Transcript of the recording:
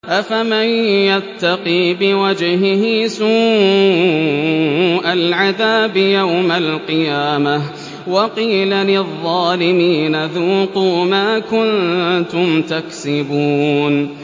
أَفَمَن يَتَّقِي بِوَجْهِهِ سُوءَ الْعَذَابِ يَوْمَ الْقِيَامَةِ ۚ وَقِيلَ لِلظَّالِمِينَ ذُوقُوا مَا كُنتُمْ تَكْسِبُونَ